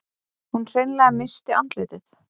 Hún hreinlega missti andlitið.